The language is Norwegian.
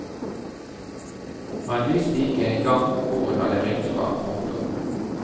Han visste ikke en gang hvor hun hadde ringt fra. punktum